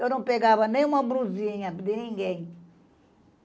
Eu não pegava nenhuma brusinha de ninguém.